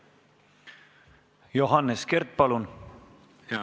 Johannes Kert, palun!